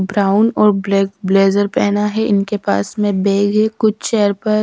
brown और black blazer पहना है इनके पास में बैग है कुछ चेयर पर--